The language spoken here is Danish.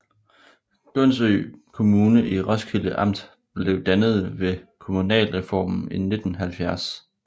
Gundsø Kommune i Roskilde Amt blev dannet ved kommunalreformen i 1970